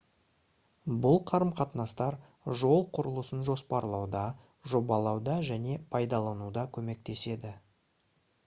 бұл қарым-қатынастар жол құрылысын жоспарлауда жобалауда және пайдалануда көмектеседі